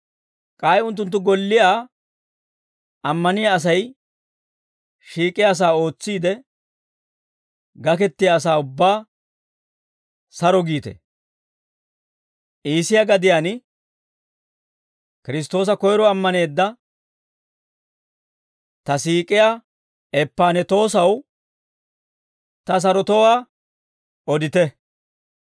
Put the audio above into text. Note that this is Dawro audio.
K'ay unttunttu golliyaa ammaniyaa Asay shiik'iyaasaa ootsiide gakettiyaa asaa ubbaa saro giite. Iisiyaa gadiyaan Kiristtoosa koyro ammaneedda ta siik'iyaa Eppanetoosaw, ta sarotowaa odite.